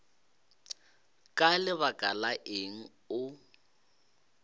ka lebaka la eng o